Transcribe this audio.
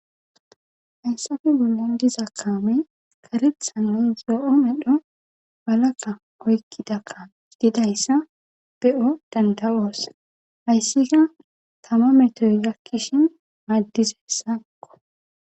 Hayssafe bollan diza kaamey karethanoy zoo7o medho balaka oykkida kan didayssa be7o dandawoosa hayssika tama metoy yakkishin maaddisessakko.